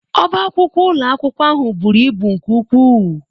Ọbá akwụkwọ ụlọ akwụkwọ ahụ buru ibu nke ukwuu